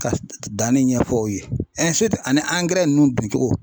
Ka danni ɲɛfɔ u ye ani ninnu don cogo.